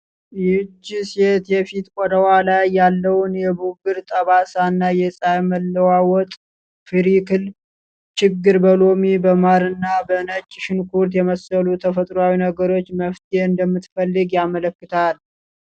ይህች ሴት የፊት ቆዳዋ ላይ ያለውን የብጉር ጠባሳ እና የፀሐይ መለዋወጥ (ፍሪክል) ችግር በሎሚ፣ በማር እና በነጭ ሽንኩርት የመሰሉ ተፈጥሯዊ ነገሮች መፍትሄ እንደምትፈልግ ያመለክታል።